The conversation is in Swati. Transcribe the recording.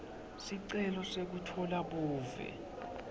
sicelo sekutfola buve